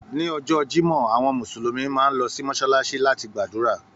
Ni ọjọ́ Jimọ, àwọn Mùsùlùmí máa n lọ sí Mọsalasi láti gbàdúrà.